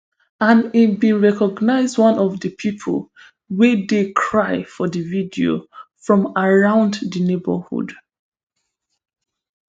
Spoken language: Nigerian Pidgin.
and e bin recognise one of di pipo wey dey cry for di video from around di neighbourhood